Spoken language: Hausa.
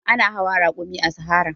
Ana hawa rakumi a sahara.